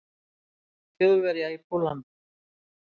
Þjóðverja í Pólland.